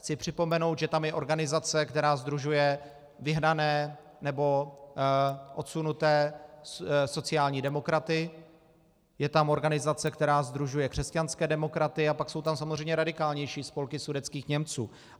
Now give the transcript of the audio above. Chci připomenout, že tam je organizace, která sdružuje vyhnané nebo odsunuté sociální demokraty, je tam organizace, která sdružuje křesťanské demokraty, a pak jsou tam samozřejmě radikálnější spolky sudetských Němců.